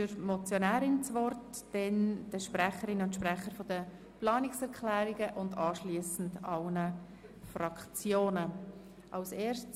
Es sind dem Grossen Rat bis spätestens im AFP 2020 Varianten für eine Anpassung bei der Erbschafts- und Schenkungssteuern aufzuzeigen.